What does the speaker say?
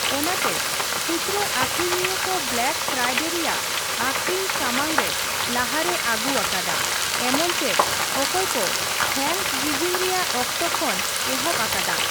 ᱚᱱᱟᱛᱮ ᱠᱷᱩᱪᱨᱟᱹ ᱟᱹᱠᱷᱨᱤᱧᱤᱭᱟᱹ ᱠᱚ ᱵᱞᱟᱠ ᱯᱷᱟᱨᱟᱭᱰ ᱨᱮᱭᱟᱜ ᱟᱹᱠᱷᱨᱤᱧ ᱥᱟᱢᱟᱝ ᱨᱮ ᱞᱟᱦᱟᱨᱮ ᱟᱹᱜᱩ ᱟᱠᱟᱫᱟ, ᱮᱢᱚᱱ ᱪᱮᱫ ᱚᱠᱚᱭ ᱠᱚ ᱛᱷᱮᱝᱠᱚᱥᱜᱤᱵᱷᱤᱝ ᱨᱮᱭᱟᱜ ᱚᱠᱛᱚ ᱠᱷᱚᱱ ᱮᱦᱚᱵ ᱟᱠᱟᱫᱟ ᱾